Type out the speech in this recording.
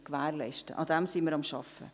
Daran sind wir am Arbeiten.